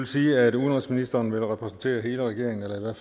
sige at udenrigsministeren vil repræsentere hele regeringen eller